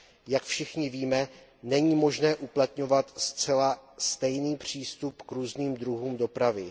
Jak všichni víme, není možné uplatňovat zcela stejný přístup k různým druhům dopravy.